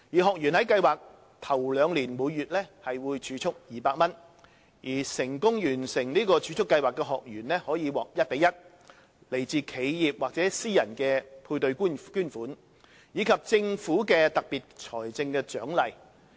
學員在計劃首兩年每月會儲蓄200元，成功完成儲蓄計劃的學員可獲一比一、來自企業或私人的配對捐款，以及政府的特別財政獎勵。